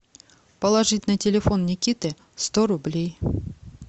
положить на телефон никиты сто рублей